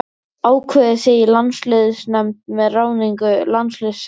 Ákveðið þið í landsliðsnefnd með ráðningu landsliðsþjálfara?